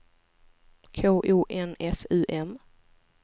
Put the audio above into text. K O N S U M